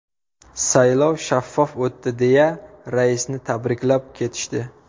Saylov shaffof o‘tdi deya raisni tabriklab ketishdi.